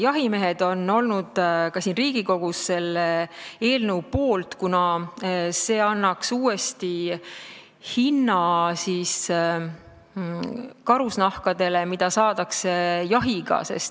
Jahimehed on olnud ka siin Riigikogus selle eelnõu poolt, kuna see annaks uuesti õige hinna nendele karusnahkadele, mida saadakse jahti pidades.